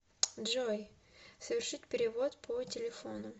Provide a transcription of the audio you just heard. джой совершить перевод по телефону